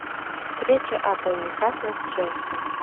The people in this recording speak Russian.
встреча апл ньюкасла с челси